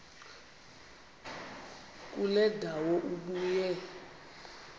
kule ndawo ubuye